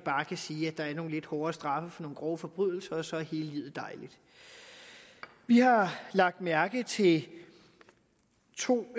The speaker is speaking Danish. bare kan sige at der nogle lidt hårdere straffe for nogle grove forbrydelser og så er livet dejligt vi har lagt mærke til to